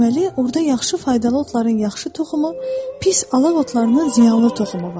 Deməli, orda yaxşı faydalı otların yaxşı toxumu, pis alaq otlarının ziyanlı toxumu var.